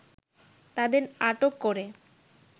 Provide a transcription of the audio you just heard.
তাদের আটক করে